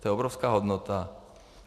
To je obrovská hodnota.